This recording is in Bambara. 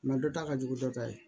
dɔ ta ka jugu dɔ ta ye